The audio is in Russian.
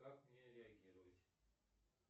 как мне реагировать